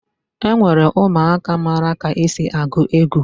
E nwere ụmụaka mara ka esi agụ egwu